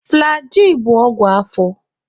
Flagịị bụ ọgwụ afọ.